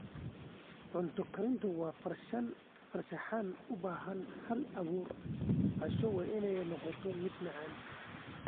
Cunto karintu waa farshaxan u baahan hal-abuur, Casho waa inay noqotaa mid macaan.